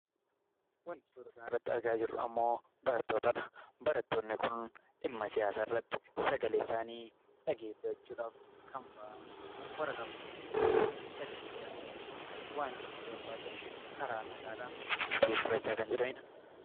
Wanti suura kanarratti argaa jirru ammoo barattootadha. Barattoonni kun dhimma siyaasaa irratti sagalee isaanii dhageessifachuudhaaf kan ba'anii waraqaa barreeffatanii sagalee isaanii waan iyyachuu barbaadan karaa nagaadhaan dhageessifachaa kan jiranidha.